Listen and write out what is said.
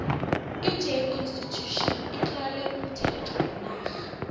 j constitution itlowe umthetho wenarha